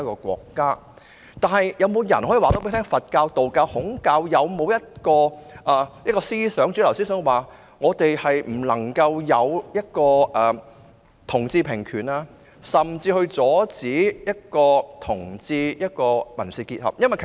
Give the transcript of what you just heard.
是否有人能告訴我，佛教、道教、孔教有沒有一種主流思想指我們不能為同志平權，甚至應阻止同志締結民事結合呢？